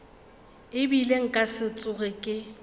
ebile nka se tsoge ke